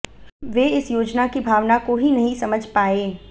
वे इस योजना की भावना को ही नहीं समझ पाये